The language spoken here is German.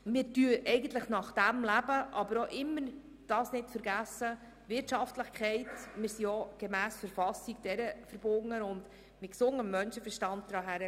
Wir leben dem nach, vergessen dabei aber auch nicht die Wirtschaftlichkeit, der wir gemäss Verfassung verpflichtet sind, und wir gehen das mit gesundem Menschenverstand an.